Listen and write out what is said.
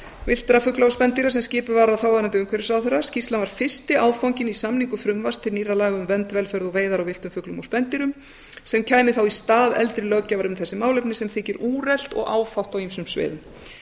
villtra fugla og spendýra sem skipuð var af þáverandi umhverfisráðherra skýrslan var fyrsti áfanginn í samningu frumvarps til nýrra laga um vernd velferð og veiðar á villtum fuglum og spendýrum sem kæmi í stað eldri löggjafar um þessi málefni sem þykir úrelt og áfátt á ýmsum sviðum